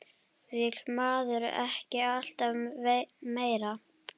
Vill maður ekki alltaf meira?